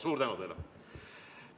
Suur tänu teile!